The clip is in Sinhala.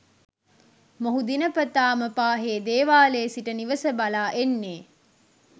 මොහු දිනපතාම පාහේ දේවාලයේ සිට නිවස බලා එන්නේ